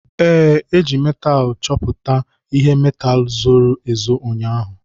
Ee, e ji metaalu nchọpụta ihe metaalu zoro ezo ụnyaahụ.